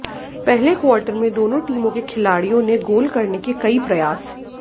पहले क्वार्टर में दोनों टीमों के खिलाड़ियों ने गोल करने के कई प्रयास